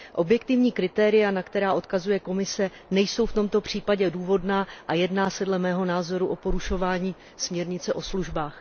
Objektivní kritéria, na která odkazuje Komise, nejsou v tomto případě důvodná a dle mého názoru se jedná o porušování směrnice o službách.